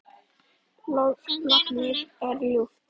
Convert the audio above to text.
Lognið er ljúft.